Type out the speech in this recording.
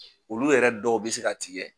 Olu yɛrɛ dɔw bɛ se ka tigɛ.